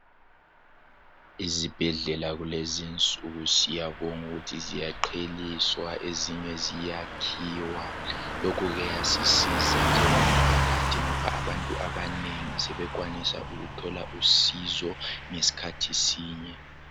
Izibhedlela kulezi insuku siyabonga ukuthi ziyaqheliswa ezinye ziyakhiwa lokhu kuyasisiza njengomphakathi ngoba abantu abanengi sebekwanisa ukuthola usizo ngesikhathi sinye.